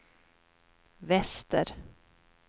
väster